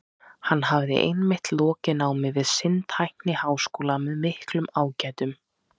Hann hafði einmitt lokið námi við sinn tækniháskóla með miklum ágætum.